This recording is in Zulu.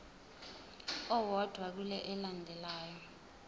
owodwa kule elandelayo